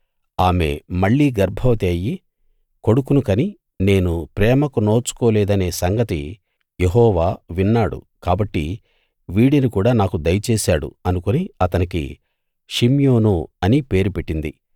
ఆమె మళ్ళీ గర్భవతి అయ్యి కొడుకును కని నేను ప్రేమకు నోచుకోలేదనే సంగతి యెహోవా విన్నాడు కాబట్టి వీడిని కూడా నాకు దయచేశాడు అనుకుని అతనికి షిమ్యోను అని పేరు పెట్టింది